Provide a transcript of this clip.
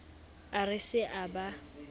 a re se a ba